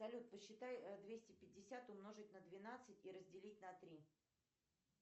салют посчитай двести пятьдесят умножить на двенадцать и разделить на три